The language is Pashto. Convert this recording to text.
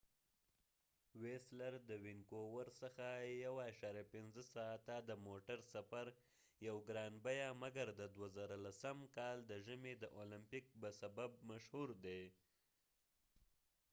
ويسلر د وينکوور څخه 1.5 ساعته د موټر سفر یو ګران بیه مګر د 2010 کال د ژمی د اولمپګ به سبب مشهور دي